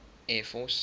air force